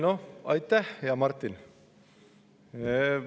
Noh, aitäh, hea Martin!